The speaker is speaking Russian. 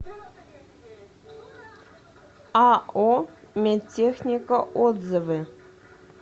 ао медтехника отзывы